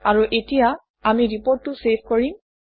আৰু এতিয়া আমি ৰিপৰ্টটো চেভ কৰিম